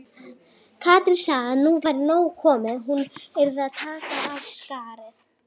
Katrín sagði að nú væri nóg komið, hún yrði að taka af skarið.